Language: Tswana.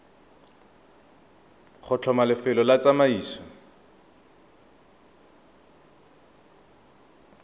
go tlhoma lefelo la tsamaiso